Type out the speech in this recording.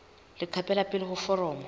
leqephe la pele la foromo